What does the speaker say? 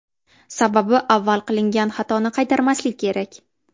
Sababi avval qilingan xatoni qaytarmaslik kerak.